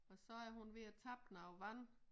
Og så er hun ved at tappe noget vand